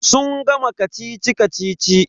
Sun gama kacici-kacici.